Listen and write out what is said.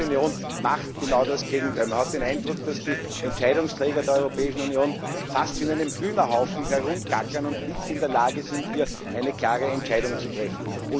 Die Europäische Union macht genau das Gegenteil man hat den Eindruck, dass die Entscheidungsträger der Europäischen Union fast wie in einem Hühnerhaufen herumgackern und nicht in der Lage sind, hier eine klare Entscheidung zu treffen.